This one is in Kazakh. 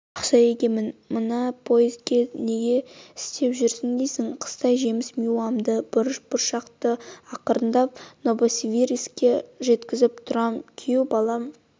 бақша егемін мына поезда неге істеп жүр дейсің қыстай жемс-миуамды бұрыш-бұршақты ақырындап новосибирскіге жеткзііп тұрам күйеубалам